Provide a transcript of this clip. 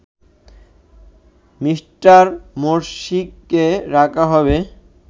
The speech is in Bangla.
মি. মোরসিকে রাখা হবে